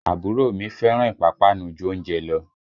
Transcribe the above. Àbúrò mi fẹ́ràn ìpápánu ju oúnjẹ lọ